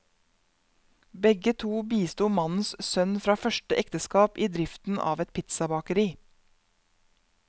Begge to bisto mannens sønn fra første ekteskap i driften av et pizzabakeri.